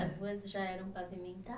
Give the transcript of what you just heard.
As ruas já eram pavimenta